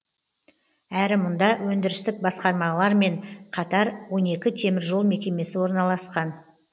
әрі мұнда өндірістік басқармалармен қатар он екі теміржол мекемесі орналасқан